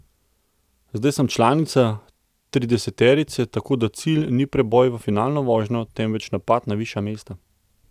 Zdaj sem članica trideseterice, tako da cilj ni preboj v finalno vožnjo, temveč napad na višja mesta.